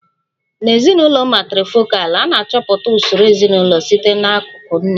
Na ezinụlọ matrifokalụ, a na-achọpụta usoro ezinụlọ site n'akụkụ nne